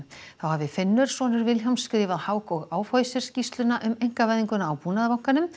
þá hafi Finnur sonur Vilhjálms skrifað Hauck Aufhäuser skýrsluna um einkavæðinguna á Búnaðarbankanum